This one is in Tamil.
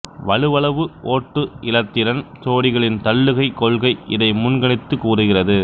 வலுவளவு ஓட்டு இலத்திரன் சோடிகளின் தள்ளுகைக் கொள்கை இதை முன்கணித்துக் கூறுகிறது